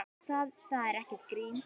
Það er ekkert grín.